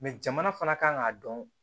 jamana fana kan k'a dɔn